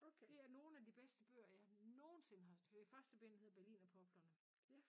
Det er nogen af de bedste bøger jeg nogensinde har første bind hedder berlinerpoplerne